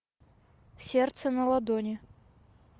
сердце на ладони